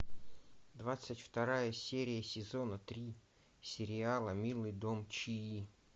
двадцать вторая серия сезона три сериала милый дом чии